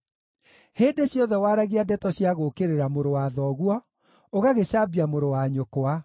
Hĩndĩ ciothe waragia ndeto cia gũũkĩrĩra mũrũ wa thoguo, ũgagĩcambia mũrũ-wa-nyũkwa.